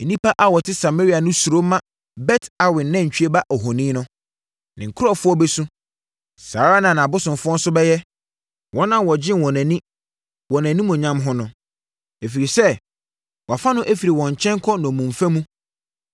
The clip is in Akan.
Nnipa a wɔte Samaria no suro ma Bet Awen nantwie ba ohoni no. Ne nkurɔfoɔ bɛsu. Saa ara na nʼabosomfoɔ nso bɛyɛ, wɔn a wɔgyee wɔn ani wɔ nʼanimuonyam ho no. Ɛfiri sɛ wɔafa no afiri wɔn nkyɛn kɔ nnommumfa mu.